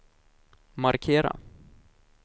markera